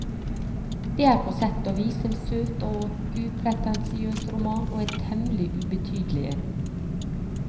Det er på sett og vis en søt og upretensiøs roman, og en temmelig ubetydelig en.